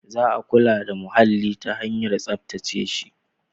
Za a kula da muhalli ta hanyar tsaftace shi.